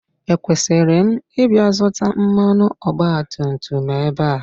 Ekwesịrị m ịbịa zụta mmanụ ọgbatumtum ebe a?